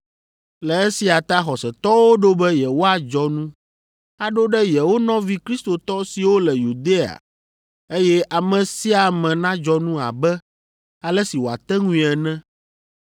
Le esia ta xɔsetɔwo ɖo be yewoadzɔ nu, aɖo ɖe yewo nɔvi Kristotɔ siwo le Yudea eye ame sia ame nadzɔ nu abe ale si wòate ŋui ene.